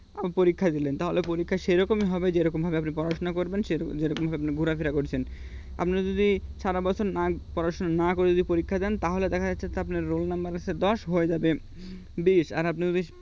পরীক্ষা দিলেন তাহলে পরীক্ষা সেরকমই হবে যেভাবে আপনি পড়াশুনা করবেন সে রকম যেরকম আপনি ঘোরাফেরা করছেন আপনারা যদি সারা বছর না পড়াশোনা না করে যদি পরীক্ষা দেন তাহলে দেখা যাচ্ছে আপনার roll number হচ্ছে দশ হয়ে যাবে বিশ আর আপনি যদি